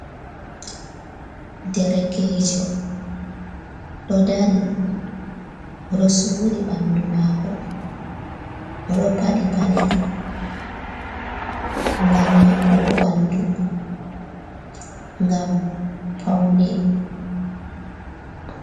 Derekejo, ɗo dari. O ɗo suri ɓandu maako. O ɗo paɗi paɗe, ngam maɓɓugo ɓandu, ngam paune.